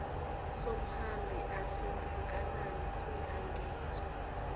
somhambi asingakanani singangenso